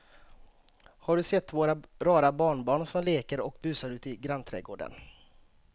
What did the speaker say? Har du sett våra rara barnbarn som leker och busar ute i grannträdgården!